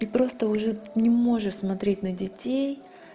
и просто уже не можешь смотреть на детей